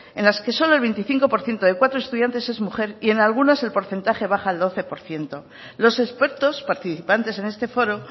en las que solo el veinticinco por ciento de cuatro estudiantes es mujer y en algunas el porcentaje baja al doce por ciento los expertos participantes en este foro